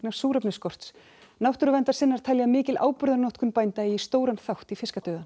súrefnisskorts náttúruverndarsinnar telja að mikil áburðarnotkun bænda eigi stóran þátt í